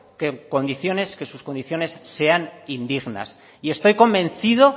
que sus condiciones sean indignas y estoy convencido